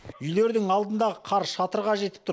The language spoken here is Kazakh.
үйлердің алдындағы қар шатырға жетіп тұр